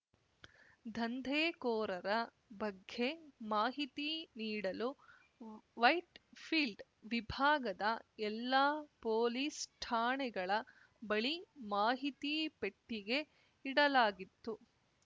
ದಂಧೆಕೋರರ ಬಗ್ಗೆ ಮಾಹಿತಿ ನೀಡಲು ವೈಟ್‌ಫೀಲ್ಡ್‌ ವಿಭಾಗದ ಎಲ್ಲಾ ಪೊಲೀಸ್‌ ಠಾಣೆಗಳ ಬಳಿ ಮಾಹಿತಿ ಪೆಟ್ಟಿಗೆ ಇಡಲಾಗಿತ್ತು